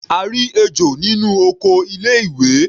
A rí ejò nínú oko ilé ìwé.